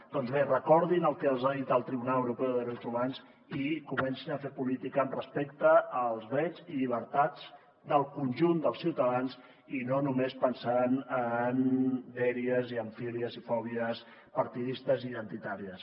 doncs bé recordin el que els ha dit el tribunal europeu de drets humans i comencin a fer política amb respecte als drets i llibertats del conjunt dels ciutadans i no només pensant en dèries i en fílies i fòbies partidistes i identitàries